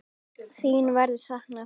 Þín verður saknað.